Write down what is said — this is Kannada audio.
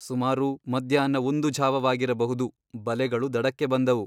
ಸುಮಾರು ಮಧ್ಯಾಹ್ನ ಒಂದು ಝಾವವಾಗಿರಬಹುದು ಬಲೆಗಳು ದಡಕ್ಕೆ ಬಂದವು.